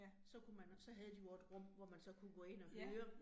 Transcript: Så kunne man, så havde de jo også et rum, hvor man så kunne gå ind og høre